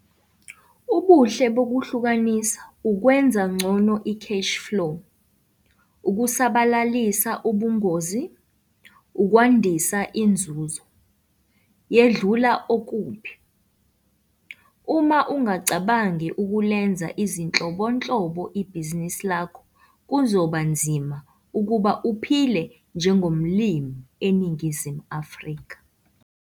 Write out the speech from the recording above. Ubuhle bokuhlukanisa - ukwenza ngcono i-cash-flow, ukusabalalisa ubungozi, ukwandisa inzuzo - yedlula okubi. Uma ungacabangi ukulenza izinhlobonhlo ibhizinisi lakho, kuzoba nzima ukuba uphile njengomlimi eNingizimu Afrika.